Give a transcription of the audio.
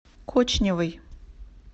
кочневой